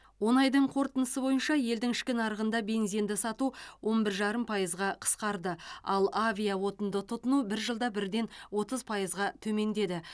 он айдың қорытындысы бойынша елдің ішкі нарығында бензинді сату он бір жарым пайызға қысқарды ал авиаотынды тұтыну бір жылда бірден отыз пайызға төмендеді